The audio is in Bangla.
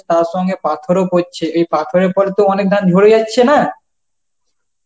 তার সঙ্গে পাথরও পরছে এই পাথরের পর তো অনেক ধান ঝরে যাচ্ছে না